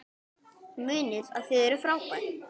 Munið að þið eruð frábær!